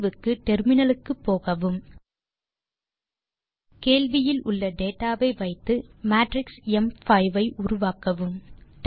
தீர்வுக்கு டெர்மினலுக்கு போகவும் கேள்வியில் உள்ள டேட்டா வை வைத்து மேட்ரிக்ஸ் ம்5 ஐ உருவாக்கலாம்